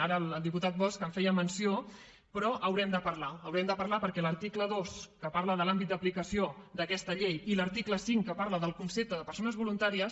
ara el diputat bosch en feia menció però haurem de parlar haurem de parlar perquè l’article dos que parla de l’àmbit d’aplicació d’aquesta llei i l’article cinc que parla del concepte de persones voluntàries